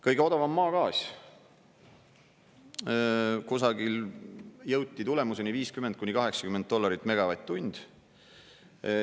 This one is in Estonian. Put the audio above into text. Kõige odavam on maagaas, kusagil jõuti tulemuseni 50–80 dollarit megavatt-tund.